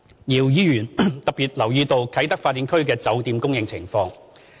姚議員特別留意到啟德發展區的酒店供應情況。